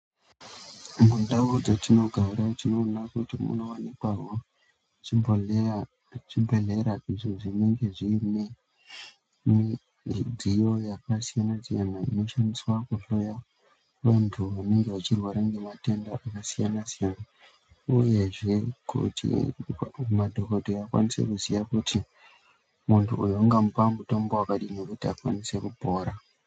Mundau dzetinogara tinoone kuti munowanikwawo zvibhedhlera izvi zvenenge zviine midziyo yakasiyana siyana inoshandiswa kuhloya vantu enenge echirwra ngematenda akasiyana siyana uyezve kuti madhokodheya akwanise kuziya kuti muntu uyu ungamupe mutombo wakadini kuti akwanise kupora.